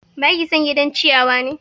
Baki son gidan ciyawa ne?